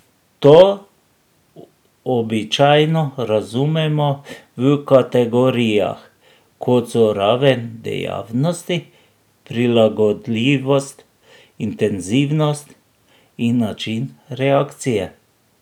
To običajno razumemo v kategorijah, kot so raven dejavnosti, prilagodljivost, intenzivnost in način reakcije.